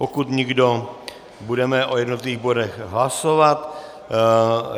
Pokud nikdo, budeme o jednotlivých bodech hlasovat.